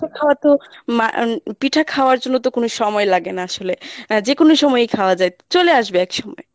খাওয়াতো মানে পিঠা খাওয়ার জন্য তো কোনো সময় লাগে না আসলে যেকোনো সময়ই খাওয়া যায়, চলে আসবে একসময়ে